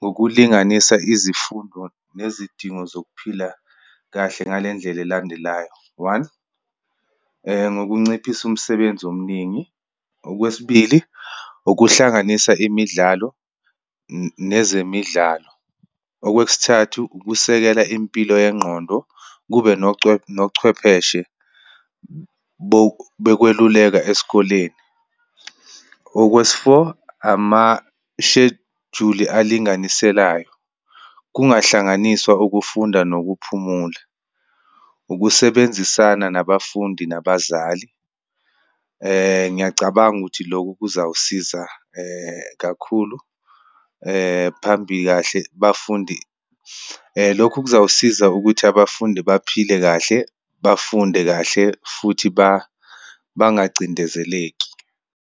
ngokulinganisa izifundo nezidingo zokuphila kahle ngale ndlela elandelayo. One, ngokunciphisa umsebenzi omningi. Okwesibili, ukuhlanganisa imidlalo nezemidlalo. Okwesithathu, ukusekela impilo yengqondo, kube nochwepheshe bokweluleka esikoleni. Okwesi-four, amashejuli alinganiselayo, kungahlanganiswa ukufunda nokuphumula, ukusebenzisana nabafundi nabazali. Ngiyacabanga ukuthi lokhu kuzawusiza kakhulu phambi kahle bafundi, lokhu kuzawusiza ukuthi abafundi baphile kahle, bafunde kahle, futhi bangacindezeleki.